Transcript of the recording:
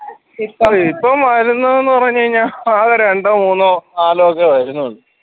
ഇപ്പം വരുന്നത് ന്ന് പറഞ്ഞ് കഴിഞ്ഞാ ആകെ രണ്ടോ മൂന്നോ നാലോ ഒക്കെ വരുന്നുള്ളൂ